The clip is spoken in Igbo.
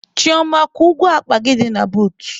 Chioma, kwụọ ụgwọ akpa gị dị na bootu!.